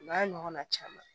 O n'a ɲɔgɔnna caman